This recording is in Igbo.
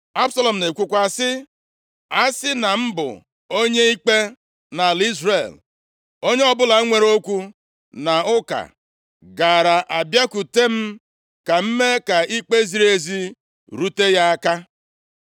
Absalọm na-ekwukwa sị, “Asị na m bụ onye ikpe nʼala Izrel, onye ọbụla nwere okwu na ụka gaara abịakwute m ka m mee ka ikpe ziri ezi rute ya aka.”